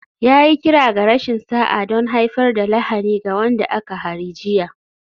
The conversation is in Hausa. Ya yi kira ga rashin sa'a don haifar da lahani ga wanda aka hari jiya